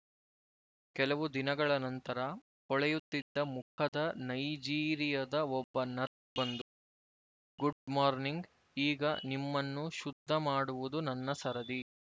ಕೆಲವು ದಿನಗಳ ನಂತರ ಹೊಳೆಯುತ್ತಿದ್ದ ಮುಖದ ನೈಜೀರಿಯದ ಒಬ್ಬ ನರ್ಸ್ ಬಂದು ಗುಡ್ ಮಾರ್‌ನಿಂಗ್ ಈಗ ನಿಮ್ಮನ್ನು ಶುದ್ಧ ಮಾಡುವುದು ನನ್ನ ಸರದಿ